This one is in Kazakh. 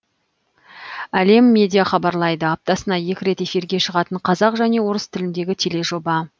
әлем медиа хабарлайды аптасына екі рет эфирге шығатын қазақ және орыс тіліндегі тележоба